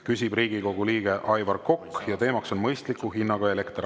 Küsib Riigikogu liige Aivar Kokk ja teemaks on mõistliku hinnaga elekter.